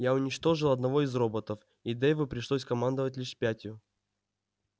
я уничтожил одного из роботов и дейву пришлось командовать лишь пятью